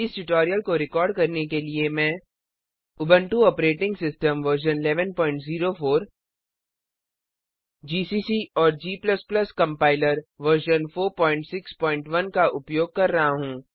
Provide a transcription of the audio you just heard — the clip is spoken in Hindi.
इस ट्यूटोरियल को रिकॉर्ड करने के लिए मैं Ubuntu operating system version 1104 GCC और g कंपाइलर वर्जन 461 का उपयोग कर रहा हूँ